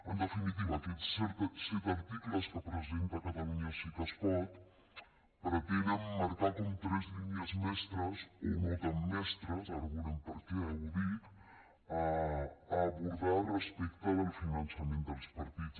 en definitiva aquests set articles que presenta catalunya sí que es pot pretenen marcar com tres línies mestres o no tan mestres ara veurem per què ho dic a abordar respecte del finançament dels partits